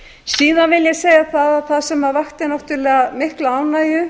síðan vil ég segja að það sem vakti náttúrlega mikla ánægju